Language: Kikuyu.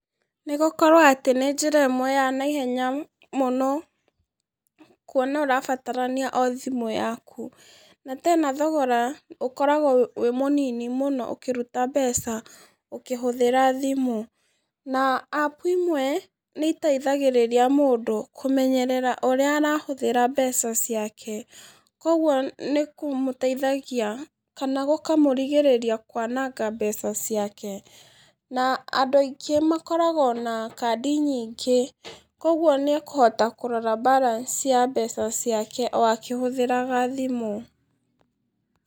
Nĩ gũkorwo atĩ nĩ njĩra imwe ya naihenya mũno kũona ũrabatarania o thimũ yaku. Na tena thogora ukoragwo wĩ mũnini mũno ũkiruta mbeca ukihũthira thimũ na app imwe nĩ ĩteithagĩrĩria mũndũ kumenyerera uria arahuthira mbeca ciake koguo nikũmuteithagia kana gukamurigĩrĩria kwananga mbeca ciake na andũ aingi makoragwo na kadi nyingĩ koguo nĩekuhota kurora balance ya mbeca ciake akĩhuthĩraga thimũ